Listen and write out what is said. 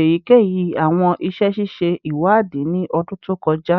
eyikeyi awọn iṣẹ ṣiṣe iwadii ni ọdun to kọja?